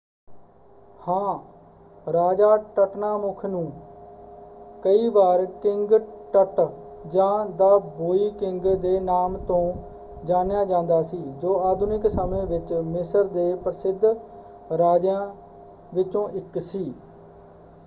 ਹਾਂ! ਰਾਜਾ ਟਟਨਾਮੁਖ ਨੂੰ ਕਈ ਵਾਰ ਕਿੰਗ ਟਟ ਜਾਂ ਦ ਬੌਇ ਕਿੰਗ ਦੇ ਨਾਮ ਤੋਂ ਜਾਣਿਆ ਜਾਂਦਾ ਸੀ ਜੋ ਆਧੁਨਿਕ ਸਮੇਂ ਵਿੱਚ ਮਿਸਰ ਦੇ ਪ੍ਰਸਿੱਧ ਰਾਜਿਆਂ ਵਿੱਚੋਂ ਇੱਕ ਸੀ।